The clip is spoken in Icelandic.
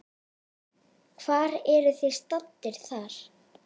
Hvar eruð þið staddir þar?